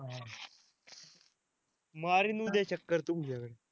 मारीन उद्या चक्कर तुमच्याकडं